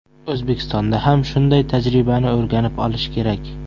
O‘zbekistonda ham shunday tajribani o‘rganib olish kerak.